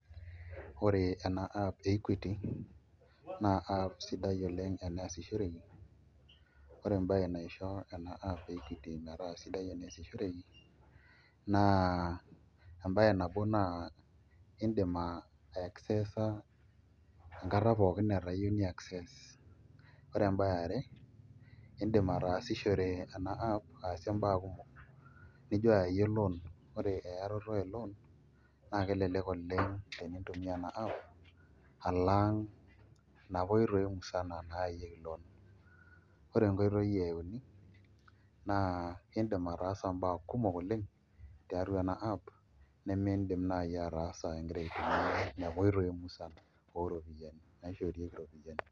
Ore ena app e Equity naa app sidai oleng' eneesishoreki ore embaye naisho ena app e Equity metaa sidai eneesishoreki naa embaye nabo naa iindim aiaccessa enkata pookin niyieu ni acesss ore embaye e are iindim ataasishore ena app ataasie imbaa kumok nijo ayaiyie loan ore eyarato e loan naa kelelek oleng' tenintumia ena app alang' inapa oitoi musana naayayieki loan, ore enkoitoi e uni naa iindim ataasa imbaa kumok oleng' tiatua ena app nemiidim naai ataasa ingira aitumia inapa oitoi musan ooropiyiani naishoorieki iropiyiani.